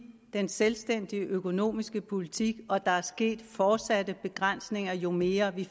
den selvstændige økonomiske politik og der er sket fortsatte begrænsninger jo mere vi